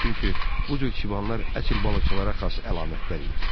Çünki bu cür çibanlar əsl balıqçılara xas əlamətlər idi.